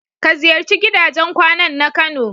Ka ziyarci gidajen kwanan na kano.